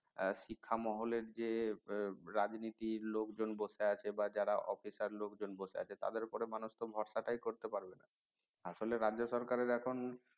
শিক্ষা মহলের যে রাজনীতির লোকজন বসে আছে বা যারা officer লোকজন বসে আছে তাদের উপর তো মানুষ ভরসা টাই করতে পারবে না আসলে রাজ্য সরকারের এখন